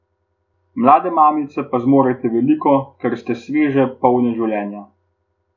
Mlade mamice pa zmorete veliko, ker ste sveže, polne življenja.